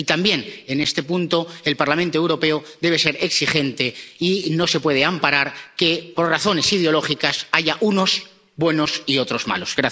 Y también, en este punto, el Parlamento Europeo debe ser exigente, y no se puede amparar que, por razones ideológicas, haya unos buenos y otros malos.